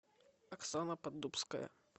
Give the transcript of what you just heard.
оксана поддубская